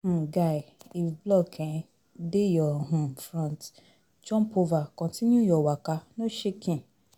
um Guy, if block um dey your um front, jump over continue your waka no shaking